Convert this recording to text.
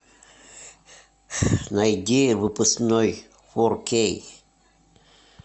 найди выпускной фор кей